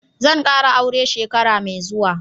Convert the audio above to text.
Zan kara aure shekara mai zuwa.